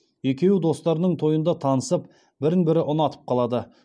екеуі достарының тойында танысып бірін бірі ұнатып қалады